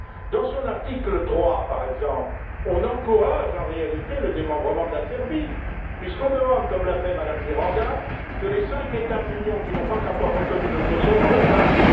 Dans son article 3, par exemple, on encourage, en réalité, le démembrement de la Serbie puisqu'on demande, comme l'a fait Mme Miranda, que les cinq États de l'Union qui n'ont pas encore reconnu le Kosovo le fassent.